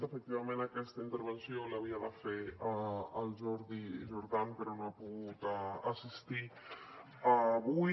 efectivament aquesta intervenció l’havia de fer el jordi jordan però no ha pogut assistir avui